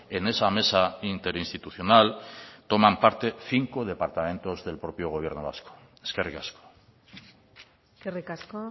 en esa mesa interinstitucional toman parte cinco departamentos del propio gobierno vasco eskerrik asko eskerrik asko